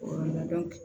O yɔrɔ la